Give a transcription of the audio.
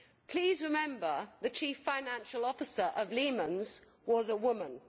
Please remember that the Chief Financial Officer of Lehman's was a woman.